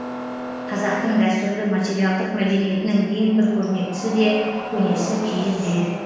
қазақтың дәстүрлі материалдық мәдениетінің ең бір көрнектісі де көнесі киіз үй